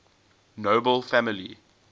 nobel family